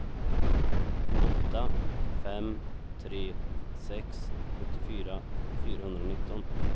åtta fem tre sex sjuttiofyra fyrahundranitton